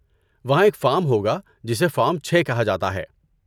وہاں ایک فارم ہوگا جسے فارم چھے کہا جاتا ہے